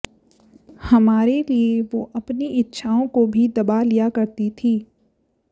हमारे लिए वो अपनी इच्छाओं को भी दबा लिया करती थी